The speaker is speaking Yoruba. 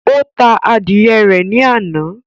Ó ta adìyẹ rẹ̀ ní àná